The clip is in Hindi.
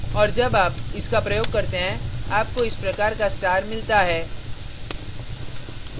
और जब आप इसका प्रयोग करते हैं आपको इस प्रकार का star मिलता है